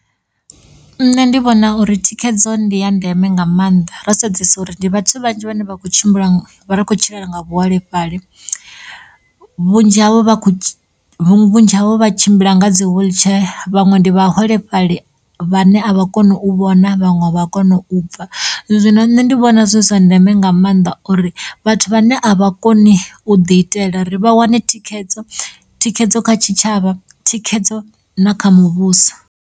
Nṋe ndi vhona uri thikhedzo ndiya ndeme nga maanḓa ro sedzesa uri ndi vhathu vhanzhi vhane vha kho tshimbila nga vhane vho kho tshilela nga vhuholefhali vhunzhi havho vha khou tsh vhudzhi havho vha tshimbila nga dzi wiḽitshee vhaṅwe ndi vhaholefhali vhane a vha koni u vhona vhaṅwe a vha koni u pfha zwino nṋe ndi vhona zwi zwa ndeme nga maanḓa uri vhathu vhane a vha koni u ḓi itela ri vha wane thikhedzo, thikhedzo kha tshitshavha thikhedzo na kha muvhuso.